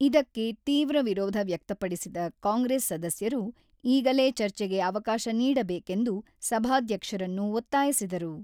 ಇದಕ್ಕೆ ತೀವ್ರ ವಿರೋಧ ವ್ಯಕ್ತಪಡಿಸಿದ ಕಾಂಗ್ರೆಸ್ ಸದಸ್ಯರು ಈಗಲೇ ಚರ್ಚೆಗೆ ಅವಕಾಶ ನೀಡಬೇಕೆಂದು ಸಭಾಧ್ಯಕ್ಷರನ್ನು ಒತ್ತಾಯಿಸಿದರು.